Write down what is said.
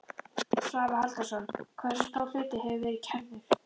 Svavar Halldórsson: Hversu stór hluti hefur verið kærður?